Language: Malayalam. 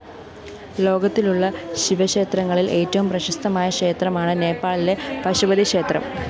ലോകത്തിലുള്ള ശിവക്ഷേത്രങ്ങളില്‍ ഏറ്റവും പ്രശസ്തമായ ക്ഷേത്രമാണ് നേപ്പാളിലെ പശുപതിക്ഷേത്രം